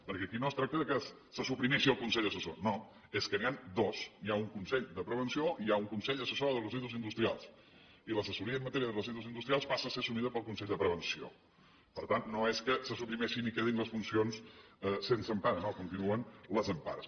perquè aquí no es tracta que se suprimeixi el consell assessor no és que n’hi ha dos hi ha un consell de prevenció i hi ha un consell assessor de residus industrials i l’assessoria en matèria de residus industrials passa a ser assumida pel consell de prevenció per tant no és que se suprimeixin i quedin les funcions sense empara no hi continuen les empares